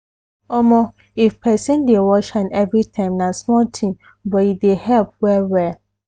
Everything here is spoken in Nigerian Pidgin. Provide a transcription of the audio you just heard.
omo! if person dey wash hand everytime na small thing but e dey help well well